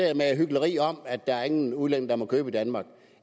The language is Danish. hykleri om at ingen udlænding må købe i danmark